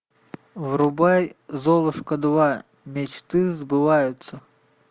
врубай золушка два мечты сбываются